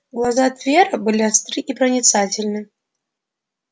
глаза твера были остры и проницательны